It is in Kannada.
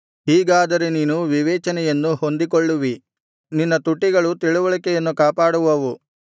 ಹೀಗಾದರೆ ನೀನು ವಿವೇಚನೆಯನ್ನು ಹೊಂದಿಕೊಳ್ಳುವಿ ನಿನ್ನ ತುಟಿಗಳು ತಿಳಿವಳಿಕೆಯನ್ನು ಕಾಪಾಡುವವು